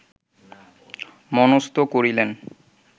মনস্থ করিলেন